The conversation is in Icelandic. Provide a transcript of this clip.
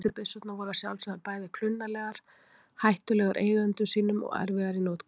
Fyrstu byssurnar voru að sjálfsögðu bæði klunnalegar, hættulegar eigendum sínum og erfiðar í notkun.